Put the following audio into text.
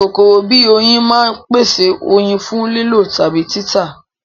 Kòkòrò bíi oyin máa ń pèsè oyin fún lílò tàbí títà